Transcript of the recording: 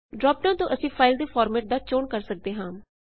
drop down ਤੋਂ ਅਸੀ file ਦੇ ਫਾਰਮੇਟ ਦਾ ਚੋਣ ਕਰ ਸਕਦੇ ਹਾਂ